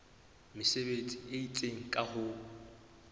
mesebetsi e itseng ka ho